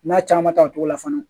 N'a caman ta o cogo la fana